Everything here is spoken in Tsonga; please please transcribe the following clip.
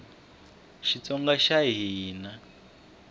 xitsonga xa hina